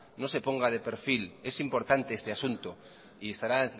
no se ponga de perfil es importante este asunto y estará